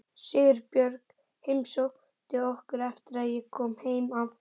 Sigurbjörg heimsótti okkur eftir að ég kom heim af